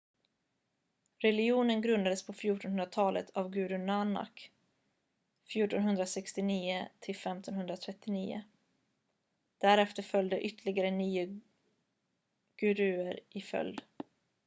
religionen grundades på 1400-talet av guru nanak 1469 - 1539. därefter följde ytterligare nio guruer i följd